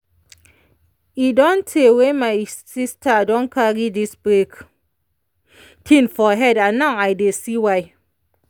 e don tey wy my sister don carry this break thing for head and now i dey see why.